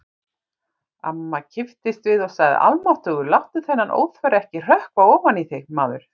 Amma kipptist við og sagði: Almáttugur, láttu þennan óþverra ekki hrökkva ofan í þig, maður